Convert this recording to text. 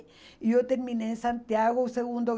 E eu terminei em Santiago o segundo